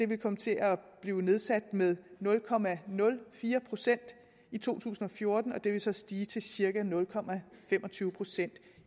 vil komme til at blive nedsat med nul procent i to tusind og fjorten og det vil så stige til cirka nul procent